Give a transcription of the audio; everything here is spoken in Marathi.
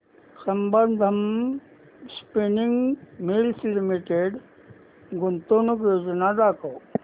संबंधम स्पिनिंग मिल्स लिमिटेड गुंतवणूक योजना दाखव